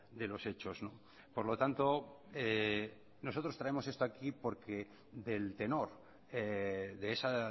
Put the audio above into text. de los hechos por lo tanto nosotros traemos esto aquí porque del tenor de esa